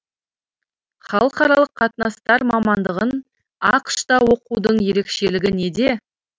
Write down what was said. халықаралық қатынастар мамандығын ақш та оқудың ерекшелігі неде